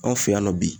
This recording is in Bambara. Anw fɛ yan nɔ bi